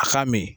A k'a min